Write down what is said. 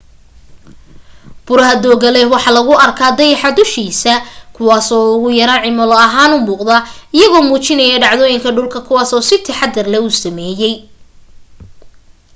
buraha dooga leh waxaa lagu arka dayaxa dushiis kuwaas oo ugu yaraan cimilo ahaan u muuqada iyagoo muujinayo dhacdoyinka dhulku kuwas uu si taxadir u sameyey